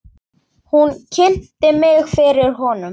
Hún kynnti mig fyrir honum.